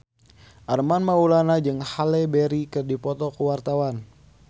Armand Maulana jeung Halle Berry keur dipoto ku wartawan